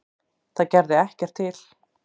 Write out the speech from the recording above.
Það gerði ekki til.